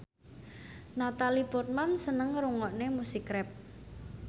Natalie Portman seneng ngrungokne musik rap